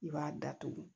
I b'a datugu